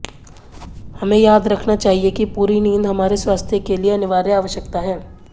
हमें याद रखना चाहिए कि पूरी नींद हमारे स्वास्थ्य के लिए अनिवार्य आवश्यकता है